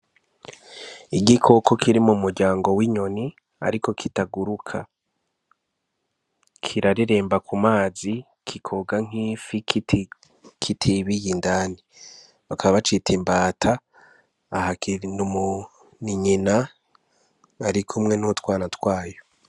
igikoko kiri mu muryango w'inyoni ariko kitaguruka. kirareremba ku mazi, kikoga nk'ifi, kitibiye indani. Bakaba bacita imbata. Aha ni nyina iri kumwe n'utwana twayo.